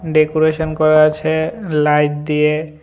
Decoration করা আছে light দিয়ে।